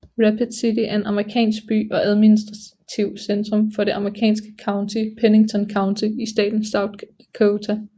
Rapid City er en amerikansk by og administrativt centrum for det amerikanske county Pennington County i staten South Dakota